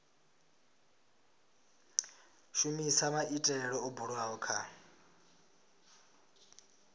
shumisa maitele o bulwaho kha